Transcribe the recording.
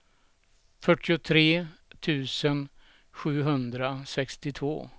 fyrtiotre tusen sjuhundrasextiotvå